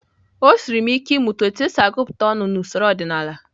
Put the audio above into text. O siiri m ike ịmụta otú e si agụta ọnụ n’usoro ọdịnala.